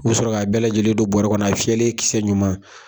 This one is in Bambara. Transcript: U bɛ sɔrɔ ka bɛɛ lajɛlen don bɔrɛ kɔnɔ a fiyɛlen kisɛ ɲuman.